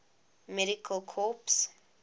medical corps